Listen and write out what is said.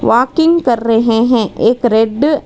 walking कर रहे हैं एक रेड --